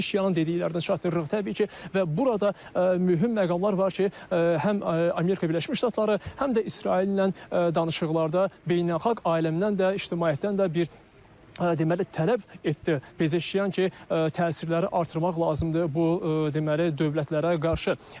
Pezeşianın dediklərini çatdırırıq təbii ki, və burada mühüm məqamlar var ki, həm Amerika Birləşmiş Ştatları, həm də İsraillə danışıqlarda beynəlxalq aləmdən də, ictimaiyyətdən də bir deməli tələb etdi Pezeşian ki, təsirləri artırmaq lazımdır bu deməli dövlətlərə qarşı.